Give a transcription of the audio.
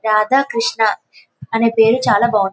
రాధా కృష్ణ అనే పేరు చాల బాగుంది.